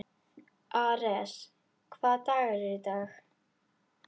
Ares, hvaða dagur er í dag?